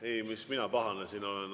Ei, miks mina siin pahane olen.